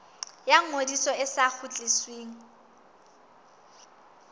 ya ngodiso e sa kgutlisweng